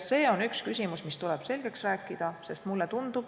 See küsimus tuleb selgeks rääkida.